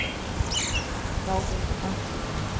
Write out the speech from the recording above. þá vita